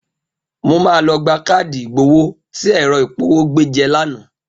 Mo máa lọ gba káàdì ìgbowó tí ẹ̀rọ ìpọwó gbé jẹ lánàá.